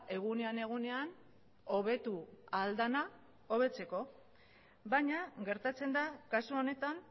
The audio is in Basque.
egunean egunean hobetu ahal dena hobetzeko baina gertatzen da kasu honetan